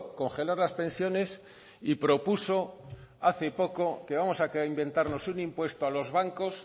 congelar las pensiones y propuso hace poco que vamos a inventarnos un impuesto a los bancos